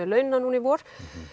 launa nú í vor